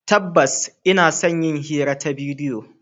Tabbas, ina son yin hira ta bidiyo.